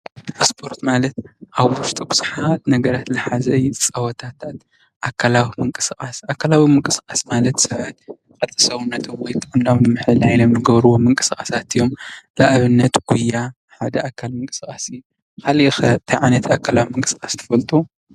ስፖርት ማለት ኣብ ውሽጡ ብዙሓት ነገራት ዝሓዘ እዩ። ፀወታት አካላዊ ምንቅስቃስ፦ አካላዊ ምንቅስቃስ ማለት ቅርፂ ስብነት ወይ ጥዕና ንምሕላይ ዝገብርዎም ምንስቃሳት ኣዮም። ንኣብነት ጉያ ሓደ ኣካል ምንቅስቃስ እዩ። ካሊእ ከ እንታይ ዓይነት ኣካላዊ ምንቅስቃስ ትፈልጡ?